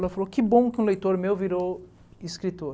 Ela falou, que bom que um leitor meu virou escritor.